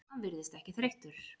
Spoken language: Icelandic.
Hann virðist ekki þreyttur.